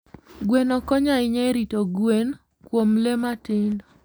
Gweno konyo ahinya e rito gwen kuom le matindo.